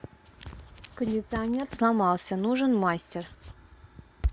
кондиционер сломался нужен мастер